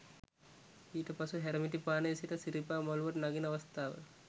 ඊට පසු හැරමිටිපානේ සිට සිරිපා මළුවට නගින අවස්ථාව